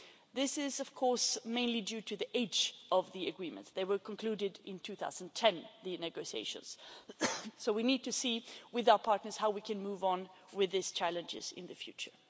This is of course mainly due to the age of the Agreements the negotiations were concluded in 2010 so we need to see with our partners how we can move on with these challenges in the future.